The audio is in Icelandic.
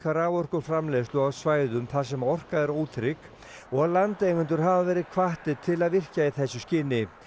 raforkuframleiðslu á svæðum þar sem orka er ótrygg og landeigendur hafa verið hvattir til að virkja í þessu skyni